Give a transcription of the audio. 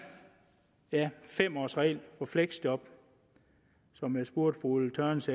fem års regel på fleksjob som jeg spurgte fru ulla tørnæs